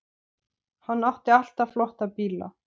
Hann átti alltaf flotta bíla.